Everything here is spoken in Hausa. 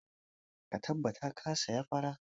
Ka tabbata ka saya fara!